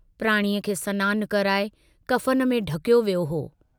प्राणीअ खे सनानु कराए कफ़न में ढकियो वियो हो।